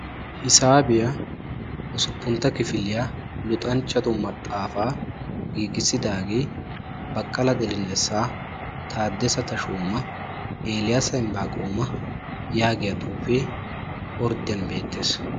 hissabiyaa usuppuntta kifilyaa luxxanchattu maxxafa giigisidagetti baqala dilnassa, tadassa tashoma ne eliyassa imbaaqoma yagiyaa xuufe ordiyani beettessi.